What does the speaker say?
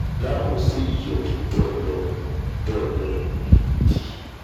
ilá ọ̀hún sì yọ̀ bọ̀lọ̀-bọ̀lọ̀ gidi